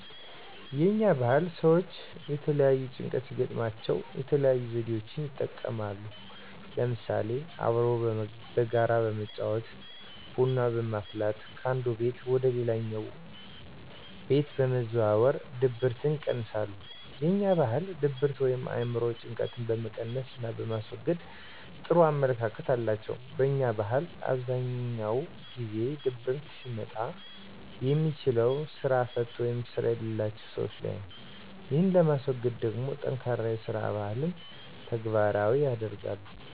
የኛ ባህል ሰወች የተለያየ ጭንቀት ሲገጥማቸው የተለያዩ ዘዴወችን ይጠቀማሉ ለምሳሌ፦ አብሮ በጋራ በመጫወት፣ ቡና በማፍላት ከአንዱ ቤት ወደ ሌላኛው ወንድ በመዘዋወር ድብርትን ይቀንሳሉ። የኛ ባህል ድብርት ወይም የአእምሮ ጭንቀጥን በመቀነስና በማስወገድ ጥሩ አመለካከት አላቸው። በኛ ባህል አብዛኛውን ጊዜ ድብርት ሊመጣ የሚችለው ስራ ፈት ወይም ስራ የለላቸው ሰወች ላይ ነው። ይህን ለማስወገድ ደሞ ጠንካራ የስራ ባህን ተግባራዊ ያደርጋሉ።